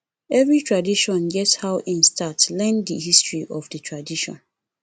every tradition get how in start learn di history of the tradition